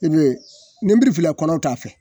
I be yen ninbiri filɛ kɔnɔw t'a fɛ